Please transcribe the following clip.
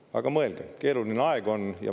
Aga mõelge, et keeruline aeg on.